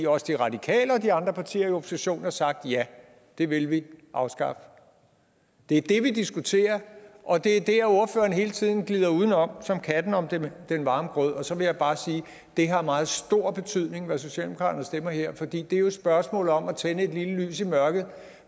også de radikale og de andre partier i oppositionen har sagt ja det vil vi afskaffe det er det vi diskuterer og det er der hvor ordføreren hele tiden glider uden om som katten om den den varme grød så vil jeg bare sige at det har meget stor betydning hvad socialdemokratiet stemmer her for det er jo et spørgsmål om at tænde en lille lys i mørket